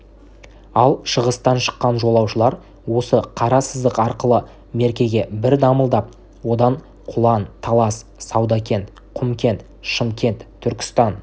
ал шығыстан шыққан жолаушылар осы қара сызық арқылы меркеге бір дамылдап одан құлан талас саудакент құмкент шымкент түркістан